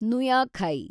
ನುಯಾಖೈ